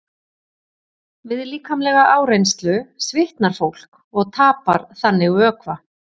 Við líkamlega áreynslu svitnar fólk og tapar þannig vökva.